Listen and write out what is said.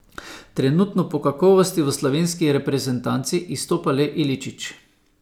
Trenutno po kakovosti v slovenski reprezentanci izstopa le Iličić.